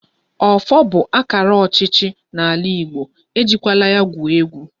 Ọfọ bụ akara ọchịchị n'ala Igbo, e jikwala ya gwuo egwu!